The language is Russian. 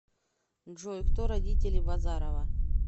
джой кто родители базарова